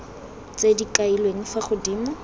tse di kailweng fa godimo